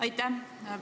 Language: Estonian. Aitäh!